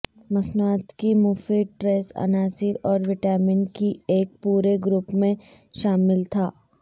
مصنوعات کی مفید ٹریس عناصر اور وٹامن کی ایک پورے گروپ میں شامل تھا